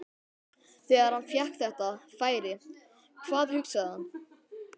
Þegar hann fékk þetta færi, hvað hugsaði hann?